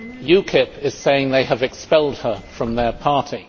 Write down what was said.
UKIP is saying they have expelled her from their party.